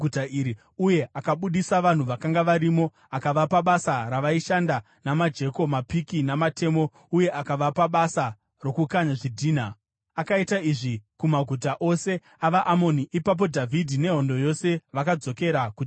uye akabudisa vanhu vakanga varimo, akavapa basa ravaishanda namajeko, mapiki namatemo, uye akavapa basa rokukanya zvidhina. Akaita izvi kumaguta ose avaAmoni. Ipapo Dhavhidhi nehondo yose vakadzokera kuJerusarema.